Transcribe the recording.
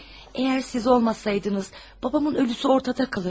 Əgər siz olmasaydınız, babamın ölüsü ortada kalırdı.